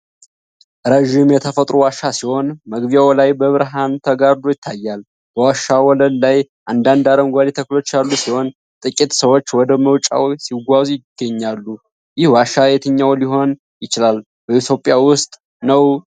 ረጅም የተፈጥሮ ዋሻ ሲሆን መግቢያው ላይ በብርሃን ተጋርዶ ይታያል። በዋሻው ወለል ላይ አንዳንድ አረንጓዴ ተክሎች ያሉ ሲሆን ጥቂት ሰዎች ወደ መውጫው ሲጓዙ ይገኛሉ። ይህ ዋሻ የትኛው ሊሆን ይችላል? በኢትዮጵያ ውስጥ ነው?